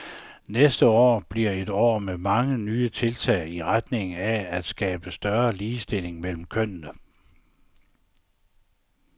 Næste år vil blive et år med mange nye tiltag i retning af at skabe større ligestilling mellem kønnene.